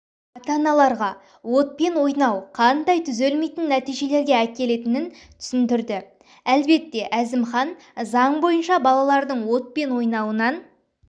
ата-аналарға отпен ойнау қандай түзелмейтін нәтижелерге әкелітінін түсіндірді әлбетте әзімхан заң бойынша балалрдң отпен ойуынан